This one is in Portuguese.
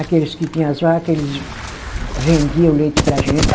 Aqueles que tinha as vaca, eles vendia o leite para a gente.